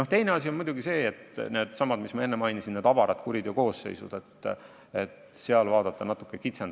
Ja veel üks asi on muidugi needsamad avarad kuriteokoosseisud, mida ma enne mainisin.